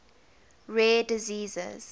rare diseases